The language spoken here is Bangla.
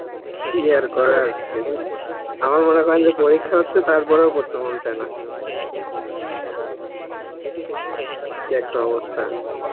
কি আর করার, আমার মনে হন যে পরীক্ষা হচ্ছে তার পর ও পড়তে মন চায়ে না, কি একটা অবস্থা